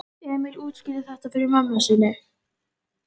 Trommar á myndina af sér á hnjánum.